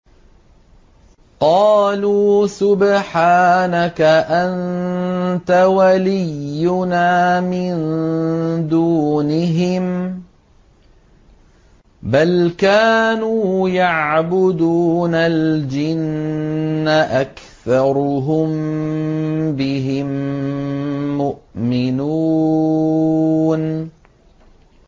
قَالُوا سُبْحَانَكَ أَنتَ وَلِيُّنَا مِن دُونِهِم ۖ بَلْ كَانُوا يَعْبُدُونَ الْجِنَّ ۖ أَكْثَرُهُم بِهِم مُّؤْمِنُونَ